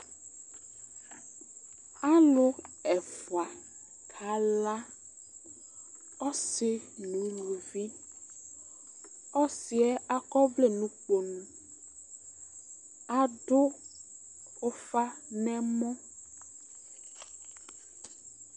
Alu ɛfua ka la, ɔsi nu uluʋiƆsi'ɛ ak'ɔʋlɛ n'ukponu, aɖu ufa n'ɛmɔ